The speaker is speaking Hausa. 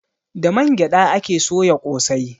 Da man gyaɗa ake soya ƙosai.